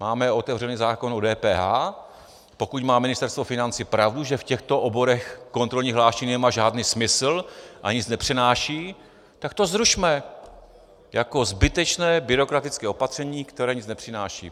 Máme otevřený zákon o DPH, pokud má Ministerstvo financí pravdu, že v těchto oborech kontrolní hlášení nemá žádný smysl a nic nepřináší, tak to zrušme jako zbytečné byrokratické opatření, které nic nepřináší.